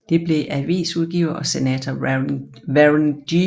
Det blev avisudgiver og senator Warren G